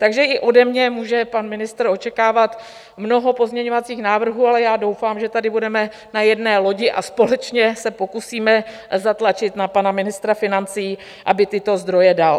Takže i ode mě může pan ministr očekávat mnoho pozměňovacích návrhů, ale já doufám, že tady budeme na jedné lodi a společně se pokusíme zatlačit na pana ministra financí, aby tyto zdroje dal.